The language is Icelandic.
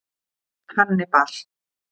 Hannibal